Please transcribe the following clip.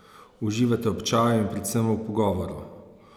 Uživata ob čaju in predvsem v pogovoru!